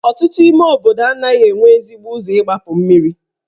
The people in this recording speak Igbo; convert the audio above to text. Ọtụtụ ime obodo anaghị enwe ezigbo ụzọ igbapu mmiri.